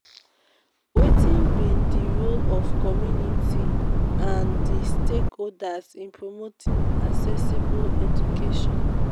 wetin be di role of community and di stakeholders in promoting accessible education?